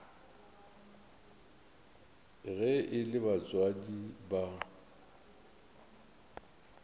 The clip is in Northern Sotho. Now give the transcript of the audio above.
ge e le batswadi ba